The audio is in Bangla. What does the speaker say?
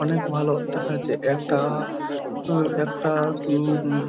অনেক ভালো দেখাচ্ছে। একটা আ একটা উ -উম --